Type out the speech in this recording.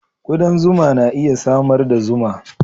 Kudan zuma na iya samar da zuma.